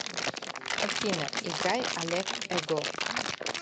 афина играй олег эго